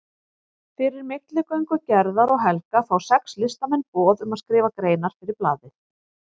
Fyrir milligöngu Gerðar og Helga fá sex listamenn boð um að skrifa greinar fyrir blaðið.